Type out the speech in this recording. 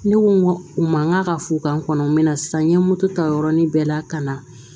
Ne ko u ma n ka fo ka n kɔnɔ n mɛ na sisan n ye moto ta yɔrɔni bɛɛ la ka na